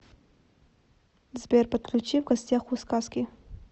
сбер подключи в гостях у сказки